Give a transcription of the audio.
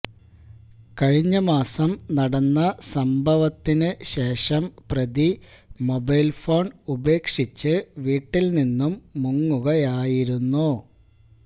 കഴിഞ്ഞ മാസം നടന്ന സംഭവത്തിന് ശേഷം പ്രതി മൊബൈൽ ഫോൺ ഉപേക്ഷിച്ച് വീട്ടിൽ നിന്നും മുങ്ങുകയായിരുന്നു